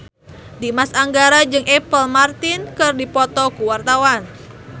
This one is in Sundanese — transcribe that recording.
Dimas Anggara jeung Apple Martin keur dipoto ku wartawan